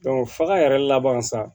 faga yɛrɛ laban sa